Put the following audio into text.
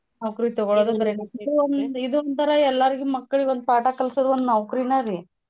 ನೌಕ್ರಿ ಇದೋಂತರಾ ಎಲ್ಲಾರಿಗೂ ಮಕ್ಳಿಗ್ ಒಂದ್ ಪಾಠ ಕಲ್ಸೋದು ಒಂದ್ ನೌಕ್ರಿನರಿ.